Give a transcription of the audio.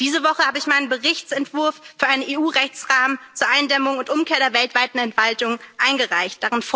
Diese Woche habe ich meinen Berichtsentwurf für einen EU Rechtsrahmen zur Eindämmung und Umkehr der weltweiten Entwaldung eingereicht.